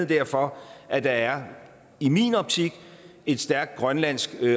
derfor at der i min optik er et stærkt grønlandsk